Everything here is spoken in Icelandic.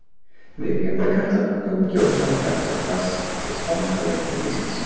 Viku eftir að Katla tók að gjósa barst spánska veikin til Íslands.